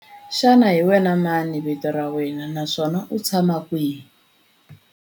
Xana hi wena mani vito ra wena naswona u tshama kwihi?